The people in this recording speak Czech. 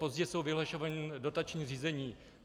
Pozdě jsou vyhlašovaná dotační řízení.